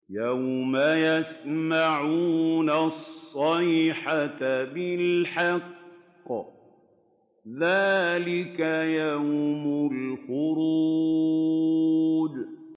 يَوْمَ يَسْمَعُونَ الصَّيْحَةَ بِالْحَقِّ ۚ ذَٰلِكَ يَوْمُ الْخُرُوجِ